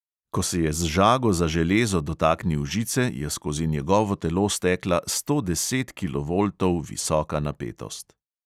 Ko se je z žago za železo dotaknil žice, je skozi njegovo telo stekla sto deset kilovoltov visoka napetost.